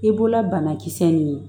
I bɔla banakisɛ nin ye